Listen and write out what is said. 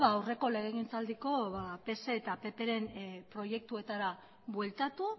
aurreko legegintzaldiko pse eta ppren proiektuetara bueltatu